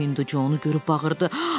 O Hindu Conu görüb bağırdı.